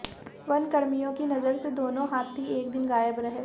वनकर्मियों की नजर से दोनों हाथी एक दिन गायब रहे